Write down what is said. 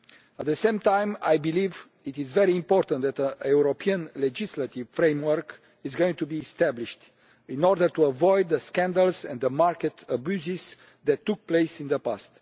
At the same time, I believe it is very important that a European legislative framework is going to be established in order to avoid the scandals and the market abuses that took place in the past.